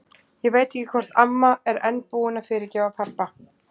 Ég veit ekki hvort amma er enn búin að fyrirgefa pabba.